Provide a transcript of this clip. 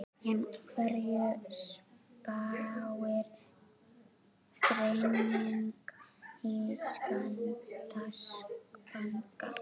En hverju spáir greining Íslandsbanka?